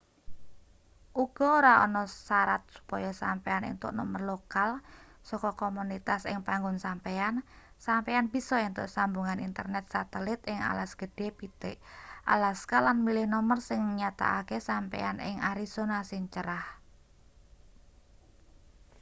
uga ora ana sarat supaya sampeyan entuk nomer lokal saka komunitas ing panggon sampeyan sampeyan bisa entuk sambungan internet satelit ing alas gedhe pitik alaska lan milih nomer sing nyatakake sampeyan ing arizona sing crah